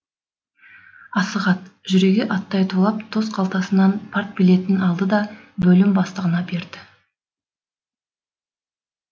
асығат жүрегі аттай тулап тос қалтасынан партбилетін алды да бөлім бастығына берді